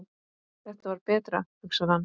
Þetta var betra, hugsar hann.